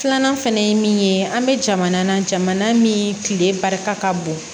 Filanan fɛnɛ ye min ye an bɛ jamana na jamana min tile barika ka bon